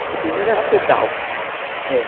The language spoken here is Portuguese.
Porque primeiro era pedal. Uhum, é.